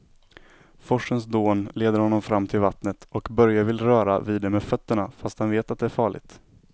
Forsens dån leder honom fram till vattnet och Börje vill röra vid det med fötterna, fast han vet att det är farligt.